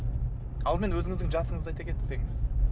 алдымен өзіңіздің жасыңызды айта кетсеңіз